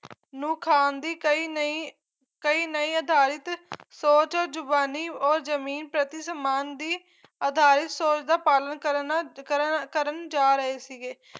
ਨੂੰ ਖਾਣ ਦੀ ਕਈ ਨਈਂ ਕਈ ਨਈਂ ਅਧਾਰਿਤ ਸੋਚ ਜ਼ੁਬਾਨੀ ਔਰ ਜਮੀਨ ਪ੍ਰਤੀ ਸਮਾਨ ਦੀ ਅਧਾਰਿਤ ਸੋਚ ਦਾ ਪਾਲਣ ਕਰਨ ਨਾਲ ਕਰਨ ਕਰਨ ਜਾ ਰਹੇ ਸੀਗੇ